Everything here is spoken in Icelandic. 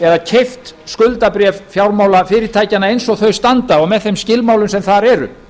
eða keypt skuldabréf fjármálafyrirtækjanna eins og þau standa og með þeim skilmálum sem þar eru